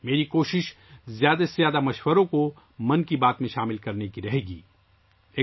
میری کوشش ہوگی کہ 'من کی بات' میں زیادہ سے زیادہ تجاویز لے سکوں